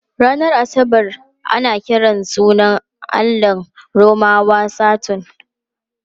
Ranar Asabar ana kiran sunan allahn Romawa Saturn.